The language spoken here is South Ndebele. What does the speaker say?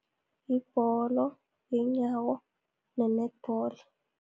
Yibholo yeenyawo, ne-Netball.